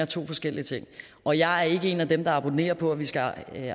to forskellige ting og jeg er ikke en af dem der abonnerer på at vi skal